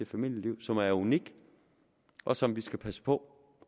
familieliv som er unik og som vi skal passe på